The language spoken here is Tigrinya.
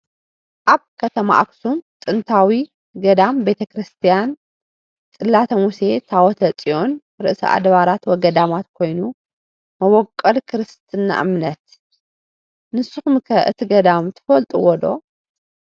አብ ከተማ አክሱም ጥንታዊ ገዳም ቤተክርሰትያነ ፅላተ ሙሴ ታወተ ፅየን ርእሰ አድበራት ወገዳማት ኮይኑ መበቆል ክርሰትና እምነት ። ንሰኩም ከ እቲ ገዳም ትፈልጥዎዶ